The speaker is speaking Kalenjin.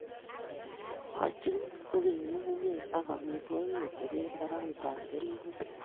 Igoochin kogeny ng'ung'unyek ak amitwogik kotebee paragutap keriinget.